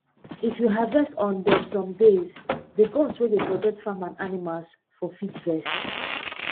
if you harvest on um some days the gods wey dey protect farm and animals um fit vex